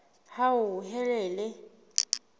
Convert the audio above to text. hauhelele